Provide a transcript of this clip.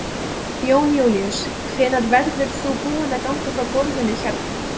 Jón Júlíus: Hvenær verður þú búinn að ganga frá gólfinu hérna?